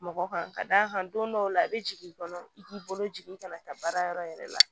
Mɔgɔ kan ka d'a kan don dɔw la i bɛ jigin i kɔnɔ i k'i bolo jigin i kana taa baara yɔrɔ yɛrɛ la